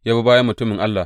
Ya bi bayan mutumin Allah.